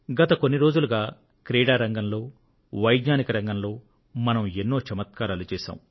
గత కొన్ని రోజులుగా క్రీడా రంగంలో శాస్త్ర విజ్ఞాన రంగంలో మనం ఎన్నో చమత్కారాలు చేశాం